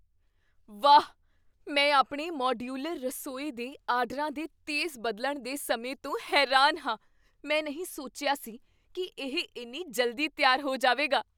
ਵਾਹ! ਮੈਂ ਆਪਣੇ ਮਾਡਿਊਲਰ ਰਸੋਈ ਦੇ ਆਰਡਰਾਂ ਦੇ ਤੇਜ਼ ਬਦਲਣ ਦੇ ਸਮੇਂ ਤੋਂ ਹੈਰਾਨ ਹਾਂ। ਮੈਂ ਨਹੀਂ ਸੋਚਿਆ ਸੀ ਕੀ ਇਹ ਇੰਨੀ ਜਲਦੀ ਤਿਆਰ ਹੋ ਜਾਵੇਗਾ!